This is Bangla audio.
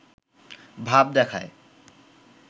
ভাব দেখায়